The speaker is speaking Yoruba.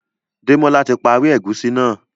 Demola tí parí egusi náa